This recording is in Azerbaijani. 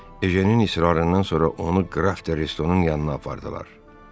Ejenin israrından sonra onu Qraf de Restonun yanına apardılar.